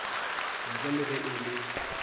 ntle le ge e le